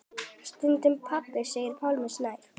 Stundum pabbi segir Pálmi Snær.